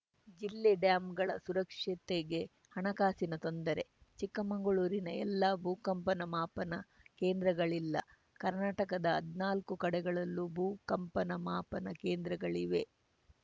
ಜಿಲ್ಲೆ ಡ್ಯಾಂಗಳ ಸುರಕ್ಷತೆಗೆ ಹಣಕಾಸಿನ ತೊಂದರೆ ಚಿಕ್ಕಮಗಳೂರಿನ ಎಲ್ಲೂ ಭೂಕಂಪನ ಮಾಪನ ಕೇಂದ್ರಗಳಿಲ್ಲಕರ್ನಾಟಕದ ಹದ್ನಾಲ್ಕು ಕಡೆಗಳಲ್ಲೂ ಭೂ ಕಂಪನ ಮಾಪನ ಕೇಂದ್ರಗಳಿವೆ